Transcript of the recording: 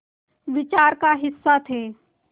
विचार का हिस्सा थे